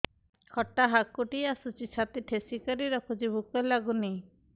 ଖଟା ହାକୁଟି ଆସୁଛି ଛାତି ଠେସିକରି ରଖୁଛି ଭୁକ ଲାଗୁନି